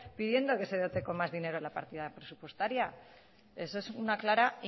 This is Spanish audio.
pidiendo que se dote con más dinero la partida presupuestaria eso es una clara